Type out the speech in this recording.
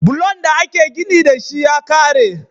Bulon da ake gini dashi ya kare